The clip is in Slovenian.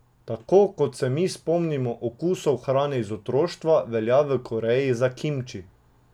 Tako kot se mi spomnimo okusov hrane iz otroštva, velja v Koreji za kimči.